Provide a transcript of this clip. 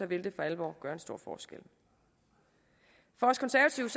vil det for alvor gøre en stor forskel for os konservative